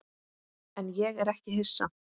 En ég er ekki hissa.